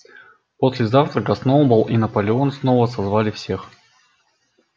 после завтрака сноуболл и наполеон снова созвали всех